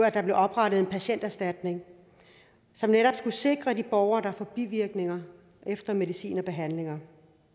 at der blev oprettet en patienterstatning som netop skulle sikre de borgere der får bivirkninger efter medicin og behandlinger